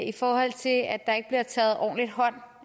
i forhold til at der ikke bliver taget ordentligt hånd